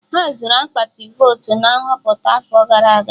Ha zuru akpati votu na Nhọpụta afọ gara aga